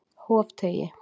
Hofteigi